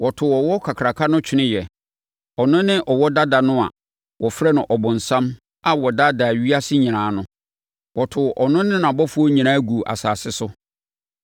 Wɔtoo ɔwɔ kakraka no tweneeɛ. Ɔno ne ɔwɔ dada no a wɔfrɛ no ɔbonsam a ɔdaadaa ewiase nyinaa no. Wɔtoo ɔno ne nʼabɔfoɔ nyinaa guu asase so.